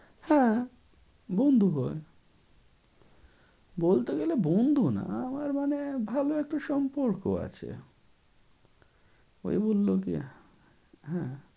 হ্যাঁ বন্ধু হয়ে বলতে গেলে বন্ধু না আমার মানে ভালো একটা সম্পর্ক আছে। ওই বললো কি হ্যাঁ